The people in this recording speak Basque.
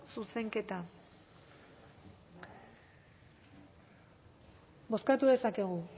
zuzenketa bozkatu dezakegu